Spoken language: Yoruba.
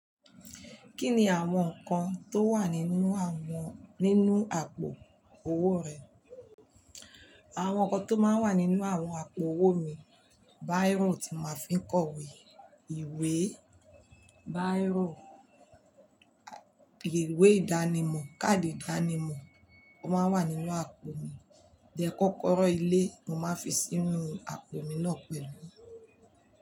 Kí ni àwọn nǹkan tó wà nínú àwọn nínú àpò owó rẹ? Àwọn nǹkan tó máa ń wà nínú àwọn àpò owó mi, biro tí màá fi ń kọ̀wé, ìwé biro, ìwé ìdánimọ̀, káàdì ìdánimọ̀ kó máa ń wà nínú àpò mi, díẹ̀ kọ́kọ́rọ́ ilé mo máa ń fi sínú àpò mi náà pẹ̀lú.